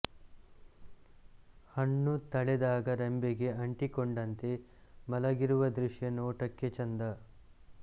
ಹಣ್ಣು ತಳೆದಾಗ ರೆಂಬೆಗೆ ಅಂಟಿಕೊಂಡಂತೆ ಮಲಗಿರುವ ದೃಶ್ಯ ನೋಟಕ್ಕೆ ಚೆಂದ